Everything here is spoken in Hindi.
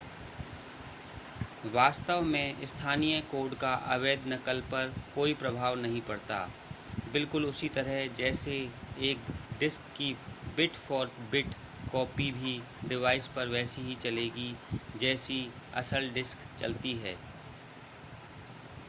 वास्तव में स्थानीय कोड का अवैध नकल पर कोई प्रभाव नहीं पड़ता बिल्कुल उसी तरह जैसे एक डिस्क की बिट-फॉर-बिट कॉपी किसी भी डिवाइस पर वैसी ही चलेगी जैसी असल डिस्क चलती है